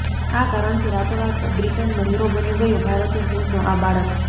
આ કારણથી રાતોરાત બ્રિટનનો હીરો બની ગયો ભારતીય મૂળનો આ બાળક